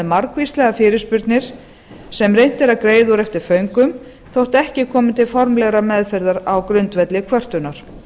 margvíslegar fyrirspurnir sem reynt er að greiða úr eftir föngum þó ekki komi til formlegrar meðferðar á grundvelli kvörtunar